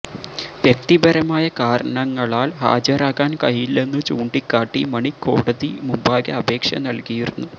വ്യക്തിപരമായ കാരണങ്ങളാൽ ഹാജരാകാൻ കഴിയില്ലെന്നു ചൂണ്ടിക്കാട്ടി മണി കോടതി മുമ്പാകെ അപേക്ഷ നൽകിയിരുന്നു